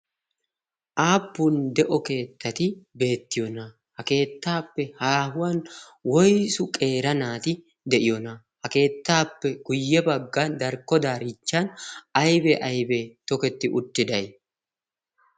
Aappun de'o keettati beettiyoona? Ha keettaappe haahuwan woysu qeera naati de'iyoonaa? Ha keettaappe guyye baggan darkko daariinchchan aybee aybee toketti uttiday?